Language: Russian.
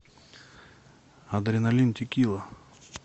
адреналин текила